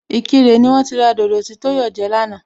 Ìkirè ni wón ti ra dodo tí Tóyọ̀ jẹ lánàá